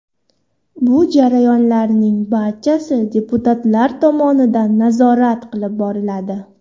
Bu jarayonlarning barchasi deputatlar tomonidan nazorat qilib boriladi.